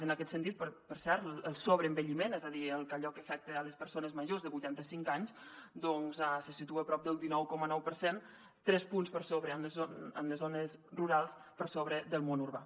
en aquest sentit per cert el sobreenvelliment és a dir allò que afecta les persones majors de vuitanta cinc anys doncs se situa a prop del dinou coma nou per cent tres punts per sobre en les zones rurals que en el món urbà